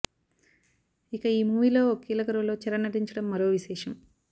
ఇక ఈ మూవీలో ఓ కీలక రోల్ లో చరణ్ నటించడం మరో విశేషం